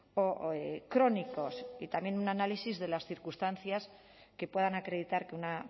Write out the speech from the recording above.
o crónicos y también un análisis de las circunstancias que puedan acreditar que una